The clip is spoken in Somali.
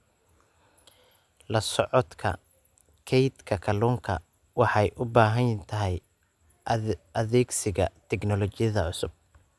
La socodka kaydka kalluunka waxay u baahan tahay adeegsiga tignoolajiyada cusub.